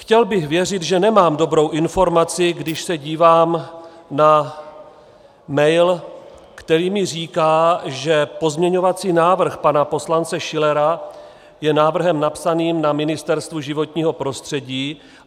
Chtěl bych věřit, že nemám dobrou informaci, když se dívám na mail, který mi říká, že pozměňovací návrh pana poslance Schillera je návrhem napsaným na Ministerstvu životního prostředí.